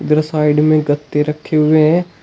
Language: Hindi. इधर साइड में गत्ते रखे हुए हैं।